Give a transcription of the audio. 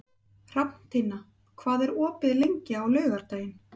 Hrafntinna, hvað er opið lengi á laugardaginn?